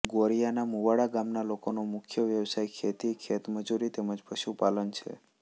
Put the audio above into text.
ગોરિયાના મુવાડા ગામના લોકોનો મુખ્ય વ્યવસાય ખેતી ખેતમજૂરી તેમ જ પશુપાલન છે